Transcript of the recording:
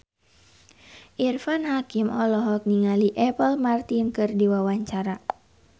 Irfan Hakim olohok ningali Apple Martin keur diwawancara